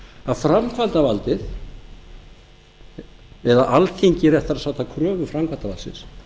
að framkvæmdarvaldið eða alþingi réttara sagt að kröfu framkvæmdarvaldsins